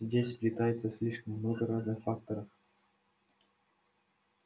здесь сплетается слишком много разных факторов